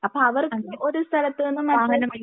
അപ്പൊ അവർക്ക് ഒരു സ്ഥലത്ത് നിന്നും മറ്റൊരു